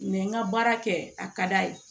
n ka baara kɛ a ka d'a ye